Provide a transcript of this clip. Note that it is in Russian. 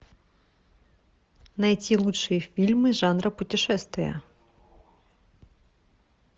найти лучшие фильмы жанра путешествия